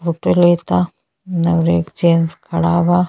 Auto लेता नौर एक जेन्स खड़ा बा।